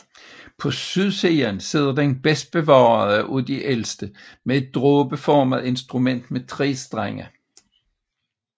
På sydsiden sidder den bedst bevarede af de ældste med et dråbeformet instrument med 3 strenge